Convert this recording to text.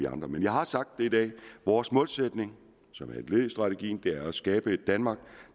andre men jeg har sagt det i dag vores målsætning som er et led i strategien er at skabe et danmark